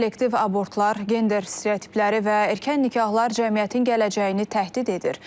Selektiv abortlar, gender stereotipləri və erkən nikahlar cəmiyyətin gələcəyini təhdid edir.